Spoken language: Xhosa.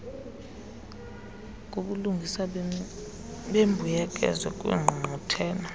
kubulungisa bembuyekezo kwiingqungquthela